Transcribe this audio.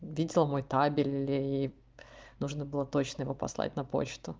видел мой табель и нужно было точно его послать на почту